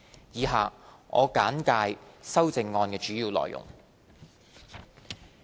以下我簡介修正案主要的內容。